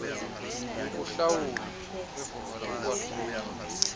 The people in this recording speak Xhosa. yokuhlawula evumela ukwahluka